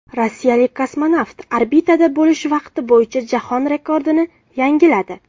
Rossiyalik kosmonavt orbitada bo‘lish vaqti bo‘yicha jahon rekordini yangiladi.